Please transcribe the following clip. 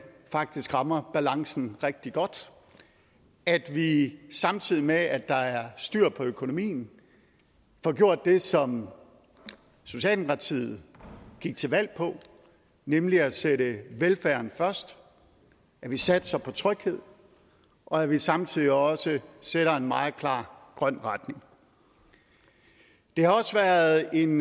faktisk rammer balancen rigtig godt at vi samtidig med at der er styr på økonomien får gjort det som socialdemokratiet gik til valg på nemlig at sætte velfærden først at vi satser på tryghed og at vi samtidig også sætter en meget klar grøn retning det har også været en